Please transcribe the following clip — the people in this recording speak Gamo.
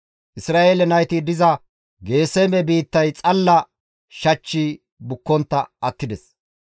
Isra7eele nayti diza Geeseme biittay xalla shachchi bukkontta attides.